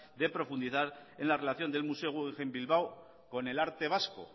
de profundizar en la relación del museo guggenheim bilbao con el arte vasco